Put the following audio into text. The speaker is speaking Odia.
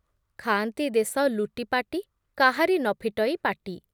ଖାଆନ୍ତି ଦେଶ ଲୁଟିପାଟି କାହାରି ନ ଫିଟଇ ପାଟି